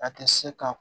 A tɛ se ka